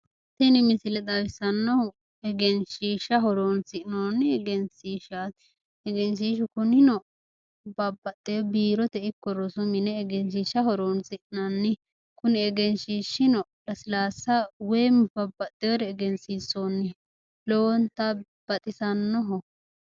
Tini misile xawisanohu egenshshisha horonisinnooni egenshishaati egenshiishu kunino babbaxewo biiroteno ikko rosu mine egenshisha horonsinnani Kuni egeshiishino lasilaasa woym babaxewore egensiinsooni